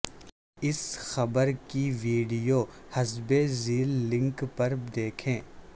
اس خبر کی ویڈیو حسب ذیل لنک پر دیکھیں